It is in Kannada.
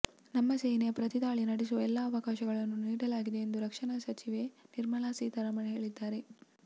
ನಮ್ಮ ಸೇನೆಗೆ ಪ್ರತಿದಾಳಿ ನಡೆಸುವ ಎಲ್ಲ ಅವಕಾಶಗಳನ್ನೂ ನೀಡಲಾಗಿದೆ ಎಂದು ರಕ್ಷಣಾ ಸಚಿವೆ ನಿರ್ಮಲಾ ಸೀತಾರಾಮನ್ ಹೇಳಿದ್ದಾರೆ